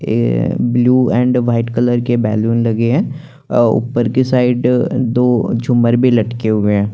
ये white colour के और ऊपर की साइड दो जुमर भी लटके हुए है।